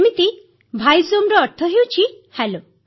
ଯେମିତି ଭାଇଜୋମର ଅର୍ଥ ହେଉଛି ହେଲୋ